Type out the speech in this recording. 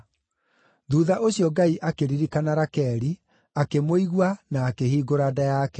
Thuutha ũcio Ngai akĩririkana Rakeli, akĩmũigua, na akĩhingũra nda yake.